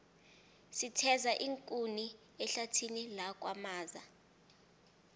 sitheza iinkuni ehlathini lakwamaza